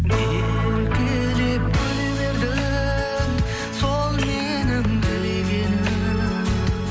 еркелеп күле бердің сол менің тілегенім